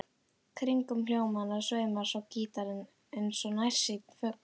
Kringum hljómana sveimar svo gítarinn eins og nærsýnn fugl.